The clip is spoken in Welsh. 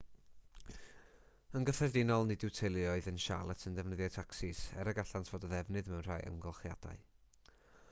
yn gyffredinol nid yw teuluoedd yn charlotte yn defnyddio tacsis er y gallant fod o ddefnydd mewn rhai amgylchiadau